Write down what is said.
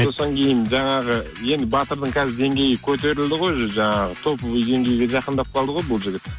сосын кейін жаңағы енді батырдың қазір деңгейі көтерілді ғой уже жаңағы топовый деңгейге жақындап қалды ғой бұл жігіт